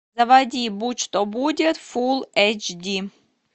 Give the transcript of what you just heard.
заводи будь что будет фул эйч ди